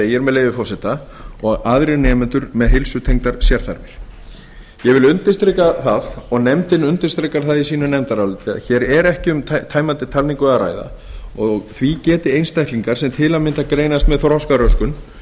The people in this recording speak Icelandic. segir með leyfi forseta og aðrir nemendur með heilsutengdar sérþarfir ég vil undirstrika það og nefndin undirstrikar það í sínu nefndaráliti að hér er ekki um tæmandi upptalningu að ræða og því geti einstaklingar sem til að mynda greinast með þroskaröskun